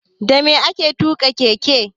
Dame ake tuƙa keke?